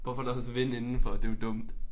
Hvorfor der også vind indenfor det jo dumt